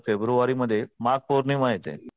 February मध्ये माघ पौर्णिमा येते.